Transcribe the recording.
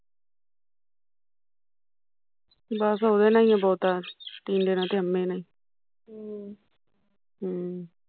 ਬਸ ਉਹਦੇ ਲਈ ਐ ਬਹੁਤਾਂ ਤਿਨ ਦੇਣਾ ਟੇ ਅਮੈ ਨੇ ਈ ਹਮ ਹਮ